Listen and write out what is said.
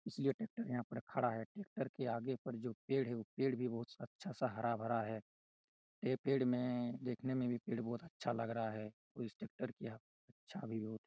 इसलिए ट्रेक्टर यहाँ पर खड़ा है ट्रेक्टर के आगे पर जो पेड़ है वो पेड़ भी बहुत अच्छा सा हरा-भरा है ये पेड़ में देखने में भी पेड़ बहुत अच्छा लग रहा है उस ट्रेक्टर की यहाँ चाभी बहोत ।